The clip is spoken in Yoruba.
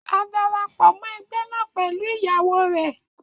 A darapọ mọ egbe naa pẹlu iyawo rẹ